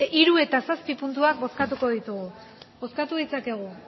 hiru eta zazpi puntuak bozkatuko ditugu bozkatu ditzakegu